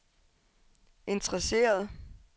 interesserede